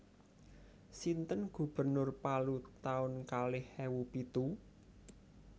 Sinten gubernur Palu taun kalih ewu pitu?